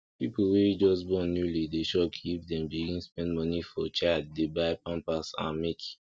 people wey just born newly dey shock if dem begin spend money for child dey buy pampers and milk